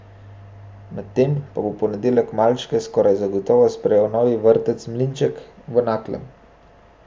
Medtem pa bo v ponedeljek malčke skoraj zagotovo sprejel novi vrtec Mlinček v Naklem.